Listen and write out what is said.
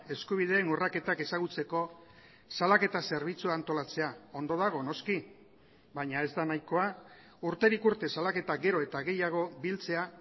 eskubideen urraketak ezagutzeko salaketa zerbitzua antolatzea ondo dago noski baina ez da nahikoa urterik urte salaketa gero eta gehiago biltzea